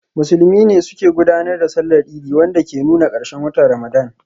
Musulmi ne suke gudanar da Sallar Idi, wanda ke nuna karshen watan Ramadan.